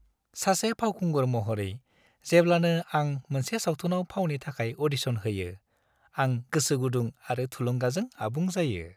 सासे फावखुंगुर महरै, जेब्लानो आं मोनसे सावथुनाव फावनि थाखाय अ'डिशन होयो, आं गोसोगुदुं आरो थुलुंगाजों आबुं जायो।